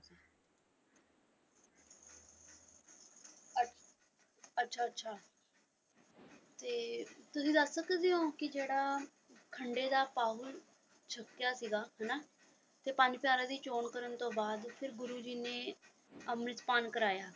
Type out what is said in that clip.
ਅੱਛਾ ਅੱਛਾ ਅੱਛਾ ਤੇ ਤੁਸੀਂ ਦੱਸ ਸਕਦੇ ਹੋ ਜਿਹੜਾ ਖੰਡੇ ਦਾ ਪਾਹੁਲ ਛਕਿਆ ਸੀਗਾ ਹਨਾ ਤੇ ਪੰਜ ਪਿਆਰਿਆਂ ਦੀ ਚੌਣ ਕਰਨ ਤੋਂ ਬਾਅਦ ਫਿਰ ਗੁਰੂ ਜੀ ਨੇ ਅੰਮ੍ਰਿਤਪਾਨ ਕਰਵਾਇਆ।